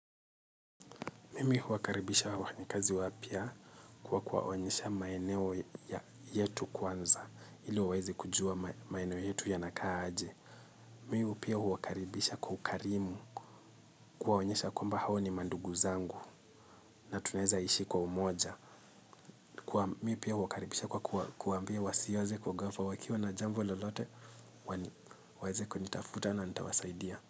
Mimi huwakaribisha wafanyi kazi wapya kwa kuwaonyesha maeneo yetu kwanza ili waweze kujua maeneo yetu yanakaa aje. Mimi pia huwakaribisha kwa ukarimu kuwaonyesha kwamba hao ni mandugu zangu na tunaeza ishi kwa umoja. Mimi pia huwakaribisha kwa kuwaambia wasieze kwa gafla wakiwa na jambo lolote waeze kunitafuta na nitawasaidia.